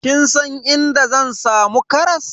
Kin san inda zan samu karas?